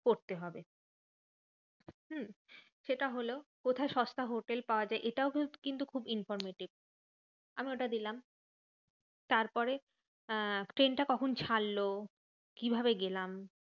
করতে হবে হম সেটা হলো। কোথায় সস্তা হোটেল পাওয়া যায়? এটাও কিন্তু খুব informative আমি ওটা দিলাম তারপরে আহ ট্রেনটা কখন ছাড়লো? কিভাবে গেলাম?